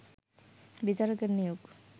বিচারকের নিয়োগ